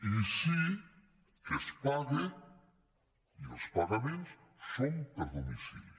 i sí que es paga i els pagaments són per domicili